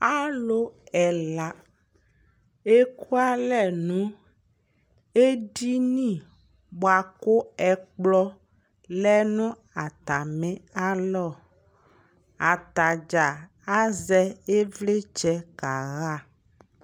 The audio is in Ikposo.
Alʋ ɛla eku alɛ nʋ edini bʋa kʋ ɛkplɔ lɛ nʋ atamialɔ Atadzaa azɛ ɩvlɩtsɛ kaɣa